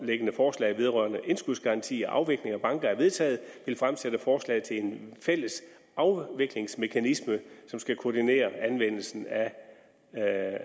forslag vedrørende indskudsgaranti og afviklingen af banker er vedtaget vil fremsætte forslag til en fælles afviklingsmekanisme som skal koordinere anvendelsen af